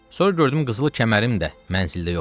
Sonra gördüm qızıl kəmərim də mənzildə yoxdur.